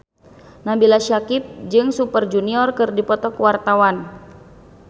Nabila Syakieb jeung Super Junior keur dipoto ku wartawan